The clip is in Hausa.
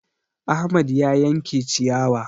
Ahmad na yanke ciyawa